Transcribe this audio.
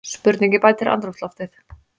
Spurningin bætir andrúmsloftið.